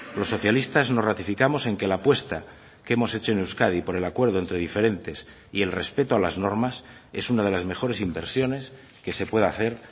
los socialistas nos ratificamos en que la apuesta que hemos hecho en euskadi por el acuerdo entre diferentes y el respeto a las normas es una de las mejores inversiones que se puede hacer